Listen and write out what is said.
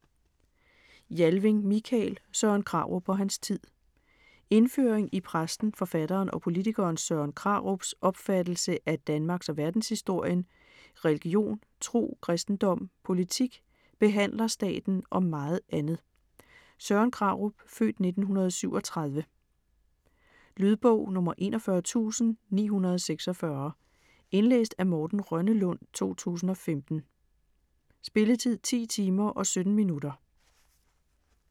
Jalving, Mikael: Søren Krarup og hans tid Indføring i præsten, forfatteren og politikeren Søren Krarups (f. 1937) opfattelse af danmarks- og verdenshistorien, religion, tro, kristendom, politik, "behandlerstaten" og meget andet. Lydbog 41946 Indlæst af Morten Rønnelund, 2015. Spilletid: 10 timer, 17 minutter.